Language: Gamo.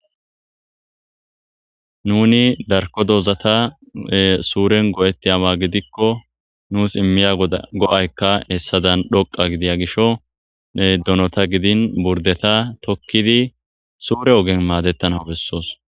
nuni darko dozata suuren go7etti awa gidikko nuus immiya go7aykka hessadan dhoqa gidiya gisho donota gidin burdeta tokkidi suure ogen maadettana bessoos